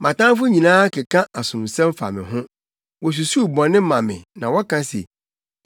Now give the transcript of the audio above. Mʼatamfo nyinaa keka asomsɛm fa me ho; wosusuw bɔne ma me na wɔka se: